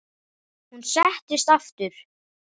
Hann settist aftur.